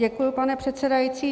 Děkuji, pane předsedající.